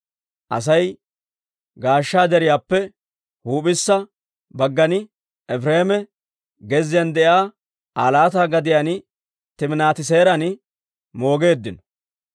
Asay Ga'aasha Deriyaappe huup'issa baggan, Efireema gezziyaan de'iyaa Aa laata gadiyaan, Timinaati-Seeran moogeeddino.